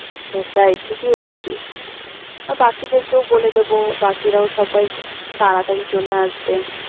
সেটাই ঠিকই বলেছিস। আর বাকিদেরকেও বলে দেবো, বাকিরাও সবাই খু~ তাড়াতাড়ি চলে আসবে।